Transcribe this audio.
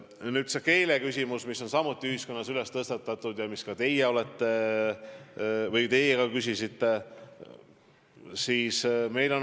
Nüüd, see keeleküsimus, mis on samuti ühiskonnas tõstatatud ja mille kohta ka teie küsisite.